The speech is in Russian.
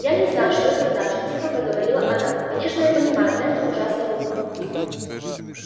я не знаю что это значит тихо проговорила она конечно я понимаю это ужасно грубо